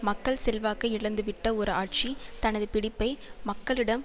மக்கள் செல்வாக்கை இழந்துவிட்ட ஒரு ஆட்சி தனது பிடிப்பை மக்களிடம்